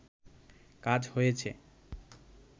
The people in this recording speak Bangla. কাজ হয়েছে